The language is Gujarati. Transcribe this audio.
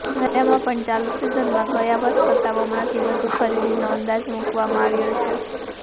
રાયડામાં પણ ચાલુ સિઝનમાં ગયા વર્ષ કરતાં બમણાથી વધુ ખરીદીનો અંદાજ મૂકવામાં આવ્યો છે